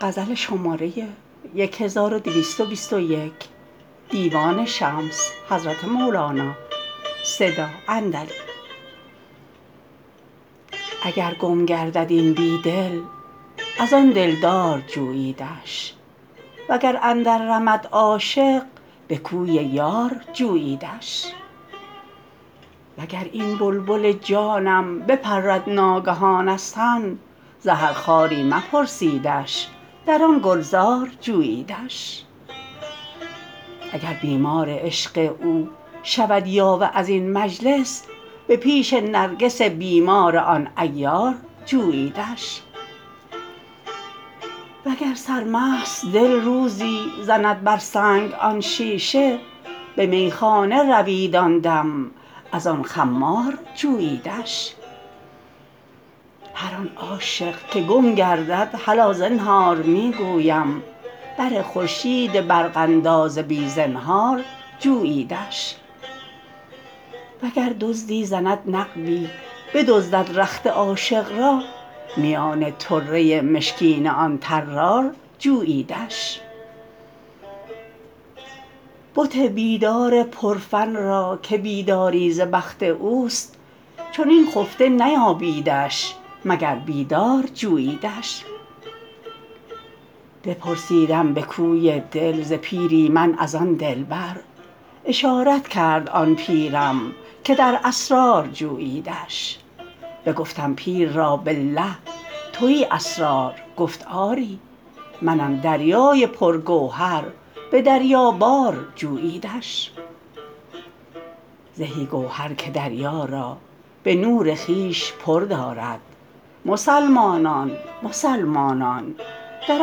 اگر گم گردد این بی دل از آن دلدار جوییدش وگر اندررمد عاشق به کوی یار جوییدش وگر این بلبل جانم بپرد ناگهان از تن زهر خاری مپرسیدش در آن گلزار جوییدش اگر بیمار عشق او شود یاوه از این مجلس به پیش نرگس بیمار آن عیار جوییدش وگر سرمست دل روزی زند بر سنگ آن شیشه به میخانه روید آن دم از آن خمار جوییدش هر آن عاشق که گم گردد هلا زنهار می گویم بر خورشید برق انداز بی زنهار جوییدش وگر دزدی زند نقبی بدزدد رخت عاشق را میان طره مشکین آن طرار جوییدش بت بیدار پرفن را که بیداری ز بخت اوست چنین خفته نیابیدش مگر بیدار جوییدش بپرسیدم به کوی دل ز پیری من از آن دلبر اشارت کرد آن پیرم که در اسرار جوییدش بگفتم پیر را بالله توی اسرار گفت آری منم دریای پرگوهر به دریابار جوییدش زهی گوهر که دریا را به نور خویش پر دارد مسلمانان مسلمانان در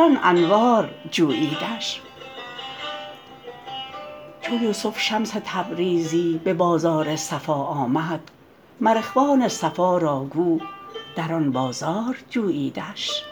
آن انوار جوییدش چو یوسف شمس تبریزی به بازار صفا آمد مر اخوان صفا را گو در آن بازار جوییدش